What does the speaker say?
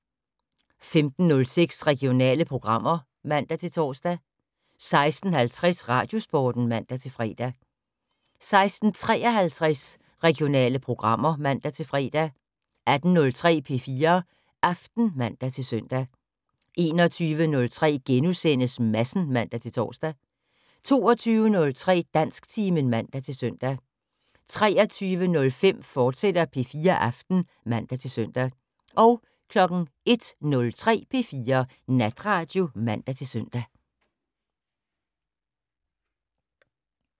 15:06: Regionale programmer (man-tor) 16:50: Radiosporten (man-fre) 16:53: Regionale programmer (man-fre) 18:03: P4 Aften (man-søn) 21:03: Madsen *(man-tor) 22:03: Dansktimen (man-søn) 23:05: P4 Aften, fortsat (man-søn) 01:03: P4 Natradio (man-søn)